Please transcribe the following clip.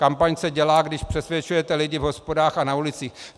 Kampaň se dělá, když přesvědčujete lidi v hospodách a na ulicích.